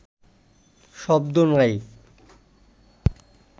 শব্দ নাই